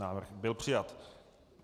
Návrh byl přijat.